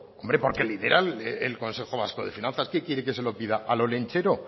hombre porque lo lidera el consejo vasco de finanzas qué quiere que se lo pida al olentzero